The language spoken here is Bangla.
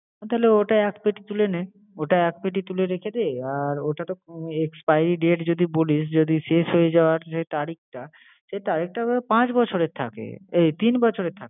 হ্যাঁ তাহলে ওটা এক peti তুলে নে। ওটা এক peti তুলে রেখে দে আর ওটাতো উম expiry date যদি বলিস, যদি শেষ হয়ে যাওয়ার যে তারিখটা সে তো পাঁচ বছরের থাকে আহ তিন বছরের থাকে।